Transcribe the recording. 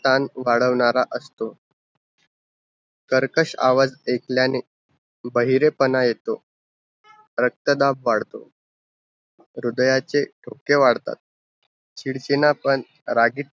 शान वाढवणारा असतो कर्कश आवाज़ आयकल्याने बेहारेपणा येतो रक्ता दाब वाढत हृदयाचे ठोके वाढतात चिडचिना पण रागित